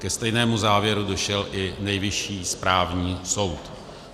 Ke stejnému závěru došel i Nejvyšší správní soud.